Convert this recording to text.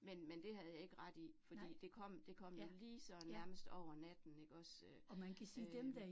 Men men det havde jeg ikke ret i, fordi det kom det kom jo lige sådan nærmest over natten ikke også øh øh